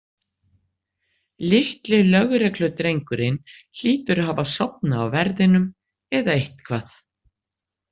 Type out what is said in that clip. Litli lögregludrengurinn hlýtur að hafa sofnað á verðinum eða eitthvað.